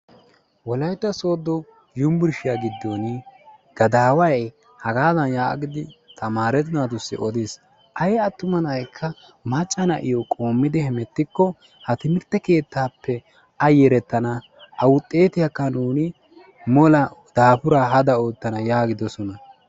wolayitta sooddo yumburshiyaa giddon gadaaway hagaadan yaagidi tamaare naatussi odiis. ayi attuma na'yikka macca naiyoo qoommidi hemettikko ha timirtte keettaappe a yederettana awuxxetiyaakka nuuni mola daafuraa hada oottana yaagidosona.